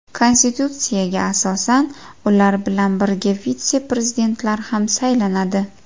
Konstitutsiyaga asosan, ular bilan birga vitse-prezidentlar ham saylanadi.